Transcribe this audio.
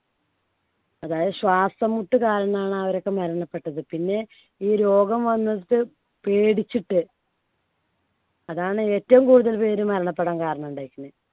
അതായത് ശ്വാസംമുട്ട് കാരണമാണ് അവരൊക്കെ മരണപ്പെട്ടത്. പിന്നെ ഈ രോഗം വന്നിട്ട് പേടിച്ചിട് അതാണ് ഏറ്റവും കൂടുതൽ പേര് മരണപ്പെടാൻ കാരണം ഉണ്ടായ്ക്ക്ണ്.